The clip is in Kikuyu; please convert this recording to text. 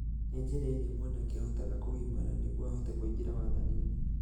nĩ njĩra ĩria mwanake ahotaga kũgimara nĩguo ahote kũingĩra wathaninĩ.